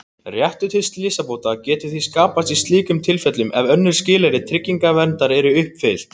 Réttur til slysabóta getur því skapast í slíkum tilfellum ef önnur skilyrði tryggingarverndar eru uppfyllt.